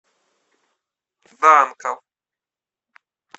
данков